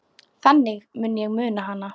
Þannig mun ég muna hana.